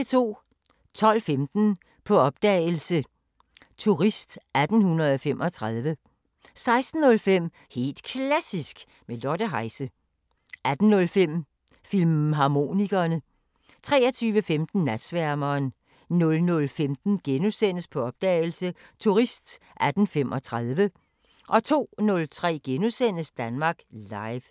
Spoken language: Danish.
12:15: På opdagelse – Turist 1835 16:05: Helt Klassisk med Lotte Heise 18:05: Filmharmonikerne 23:15: Natsværmeren 00:15: På opdagelse – Turist 1835 * 02:03: Danmark Live *